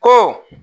Ko